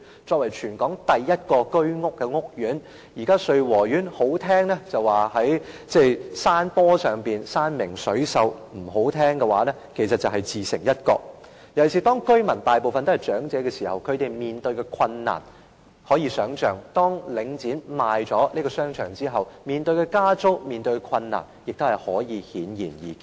作為全港第一個居屋屋苑，說得動聽一點，穗禾苑位於山坡上，山明水秀；說得難聽一點，其實是自成一角，尤其是當大部分居民均是長者，他們面對的困難可想而知，而當領展售出該商場後，市民面對的加租和其他困難亦顯而易見。